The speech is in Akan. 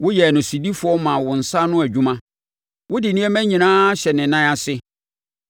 Woyɛɛ no sodifoɔ maa wo nsa ano adwuma wode nneɛma nyinaa ahyɛ ne nan ase: